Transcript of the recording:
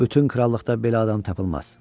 Bütün krallıqda belə adam tapılmaz.